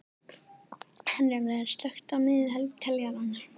Herjólfur, slökktu á niðurteljaranum.